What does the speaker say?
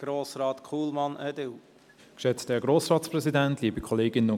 Das Wort hat Grossrat Kullmann, EDU.